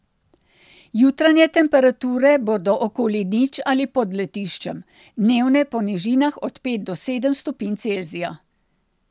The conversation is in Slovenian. Jutranje temperature bodo okoli nič ali pod lediščem, dnevne po nižinah od pet do sedem stopinj Celzija.